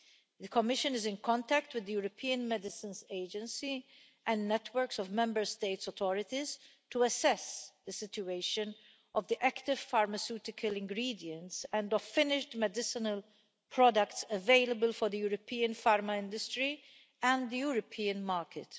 The Commission is in contact with the European Medicines Agency and networks of Member State authorities to assess the situation of the Active Pharmaceutical Ingredients and of finished medicinal products available for the European pharma industry and the European market.